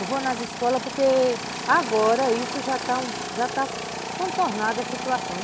Eu vou nas escolas porque agora isso já está está contornado a situação, né.